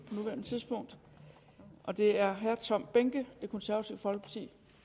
nuværende tidspunkt det er herre tom behnke det konservative folkeparti